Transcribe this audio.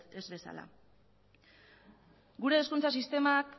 ez bezala gure hezkuntza sistemak